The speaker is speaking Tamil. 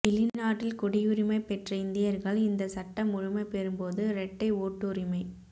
வெளிநாட்டில் குடியுரிமை பெற்ற இந்தியர்கள் இந்த சட்டம் முழுமை பெறும்போது இரட்டை ஓட்டுரிமை